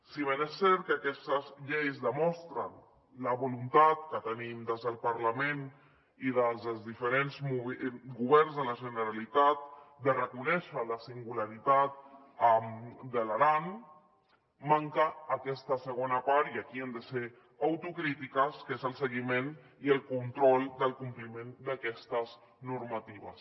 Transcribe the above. si bé és cert que aquestes lleis demostren la voluntat que tenim des del parlament i des dels diferents governs de la generalitat de reconèixer la singularitat de l’aran manca aquesta segona part i aquí hem de ser autocrítiques que és el seguiment i el control del compliment d’aquestes normatives